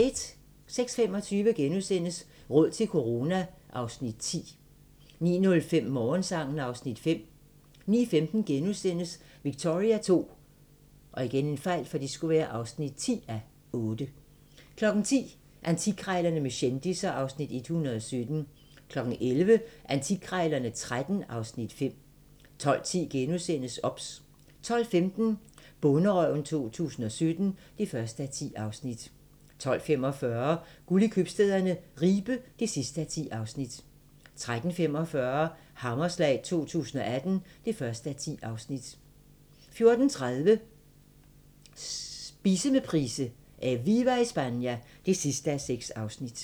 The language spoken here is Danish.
06:25: Råd til corona (Afs. 10)* 09:05: Morgensang (Afs. 5) 09:15: Victoria II (10:8)* 10:00: Antikkrejlerne med kendisser (Afs. 117) 11:00: Antikkrejlerne XIII (Afs. 5) 12:10: OBS * 12:15: Bonderøven 2017 (1:10) 12:45: Guld i købstæderne - Ribe (10:10) 13:45: Hammerslag 2018 (1:10) 14:30: Spise med Price: "Eviva Espana" (6:6)